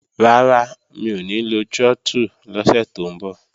Rárá, mi ò ní lo trọ́tù lọ́sẹ̀ tó ń bọ̀